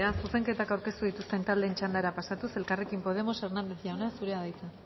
zuzenketak aurkeztu dituzten taldeen txandara pasatuz elkarrekin podemos hernández jauna zurea da hitza